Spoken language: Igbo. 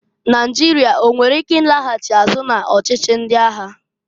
Naịjịrịa enwere ike i laghachi azụ na-ọchịchị ndị agha?